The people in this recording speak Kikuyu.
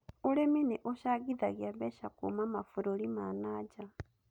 Ũrĩmi nĩ ũcangithagia mbeca kuuma mabũrũri ma nanja